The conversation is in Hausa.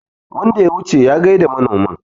wanda ya wuce ya gaida manomin